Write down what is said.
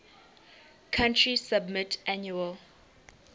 country submit annual